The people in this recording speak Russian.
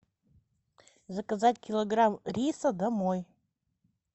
заказать килограмм риса домой